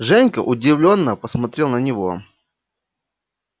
женька удивлённо посмотрел на него